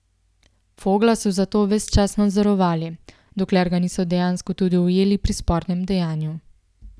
Fogla so zato ves čas nadzorovali, dokler ga niso dejansko tudi ujeli pri spornem dejanju.